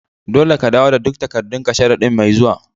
Dolle ka dawo da duk takadun ka sharadin' mai zuwa.